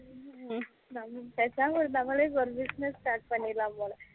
ஹம் பேசாம நம்மலே ஒரு business start பண்ணிறலாம் போல